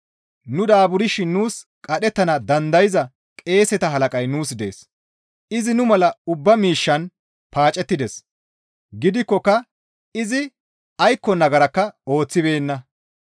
Nu daaburshin nuus qadhettana dandayza qeeseta halaqay nuus dees; izi nu mala ubba miishshan paacettides; gidikkoka izi aykko nagarakka ooththibeenna.